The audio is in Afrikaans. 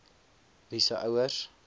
wie se ouers